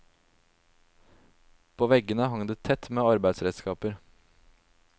På veggene hang det tett med arbeidsredskaper.